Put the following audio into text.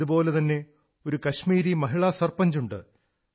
ഇതുപോലെതന്നെ ഒരു കശ്മീരി മഹിളാ സർപഞ്ചുണ്ട്